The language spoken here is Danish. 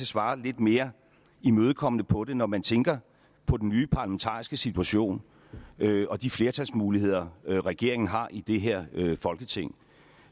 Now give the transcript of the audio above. svare lidt mere imødekommende på det når man tænker på den nye parlamentariske situation og de flertalsmuligheder regeringen har i det her folketing